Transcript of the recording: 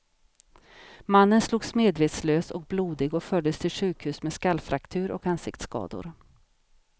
Mannen slogs medvetslös och blodig och fördes till sjukhus med skallfraktur och ansiktsskador.